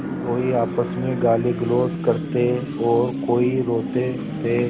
कोई आपस में गालीगलौज करते और कोई रोते थे